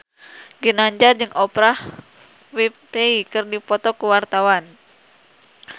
Ginanjar jeung Oprah Winfrey keur dipoto ku wartawan